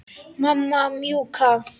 Mamma mjúka.